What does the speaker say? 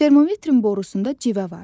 Termometrin borusunda civə var.